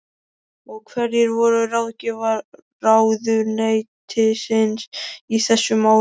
Og hverjir voru ráðgjafar ráðuneytisins í þessum málum?